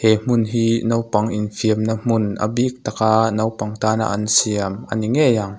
he hmun hi naupang infiam na hmun a bik taka naupang tana an siam ani ngei ang.